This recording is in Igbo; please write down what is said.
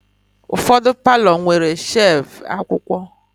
Ụfọdụ palọ nwere shevu akwụkwọ.